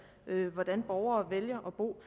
hvordan borgerne vælger at bo